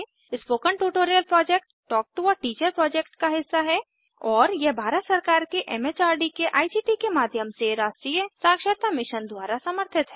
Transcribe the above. spoken tutorial project talk to a teacher project का हिस्सा है और यह भारत सरकार के एमएचआरडी के आईसीटी के माध्यम से राष्ट्रीय साक्षरता मिशन द्वारा समर्थित है